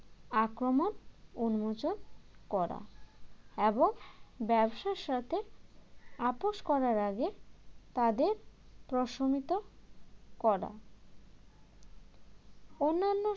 আক্রমণ উন্মোচন করা এবং ব্যবসার সাথে আপস করার আগে তাদের প্রশমিত করা অন্যান্য